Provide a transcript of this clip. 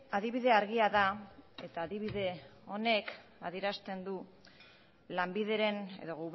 adibide argia da eta adibide honek adierazten du lanbideren edo